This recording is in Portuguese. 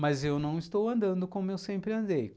Mas eu não estou andando como eu sempre andei.